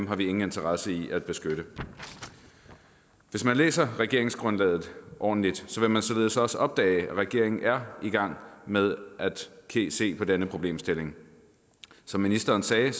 har vi ingen interesse i at beskytte hvis man læser regeringsgrundlaget ordentligt vil man således også opdage at regeringen er i gang med at se se på denne problemstilling som ministeren sagde